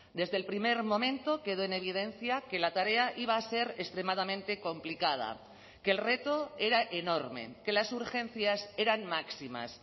desde el primer momento quedó en evidencia que la tarea iba a ser extremadamente complicada que el reto era enorme que las urgencias eran máximas